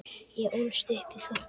Ég ólst upp í þorpi.